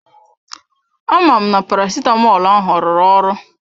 Amam na parasitamọl ahụ rụrụ ọrụ?